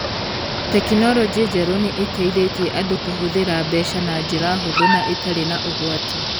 Tekinoronjĩ njerũ nĩ ĩteithĩtie andũ kũhũthĩra mbeca na njĩra hũthũ na ĩtarĩ na ũgwati